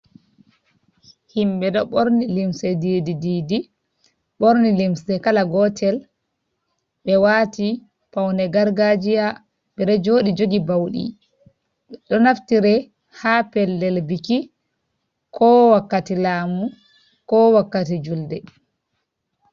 Himɓe ɗo ɓorni limse diidi-diidi, ɓorni limse kala gootel, ɓe waati pawne gargaajiya, ɓe ɗo jooɗi jogi bawɗi, ɗo naftire haa pellel biki, ko wakkati laɗmu, ko wakkati julde.